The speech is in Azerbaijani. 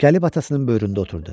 Gəlib atasının böyründə oturdu.